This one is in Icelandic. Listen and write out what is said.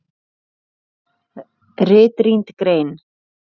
RITRÝND GREIN